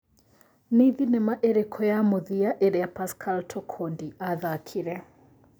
nĩ thinema ĩrikũ ya mũthia ĩria pascal Tokodi athakĩre